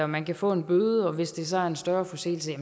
man kan få en bøde og at man hvis det så er en større forseelse